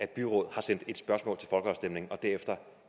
byråd har sendt et spørgsmål til folkeafstemning og derefter